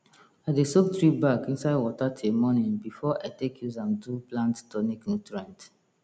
i dey soak tree bark inside water till morning before i take use am do plant tonic nutrient